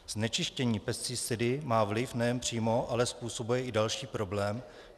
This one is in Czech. Znečištění pesticidy má vliv nejen přímo, ale způsobuje i další problém.